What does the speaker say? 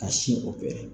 Ka sin